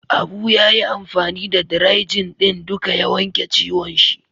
Abu ya yi amfani da "dry-jin " din duka ya wanke ciwon shi.